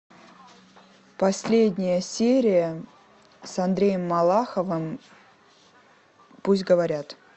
последняя серия с андреем малаховым пусть говорят